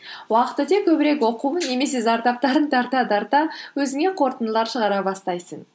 уақыт өте көбірек оқу немесе зардаптарын тарта тарта өзіңе қорытындылар шығара бастайсың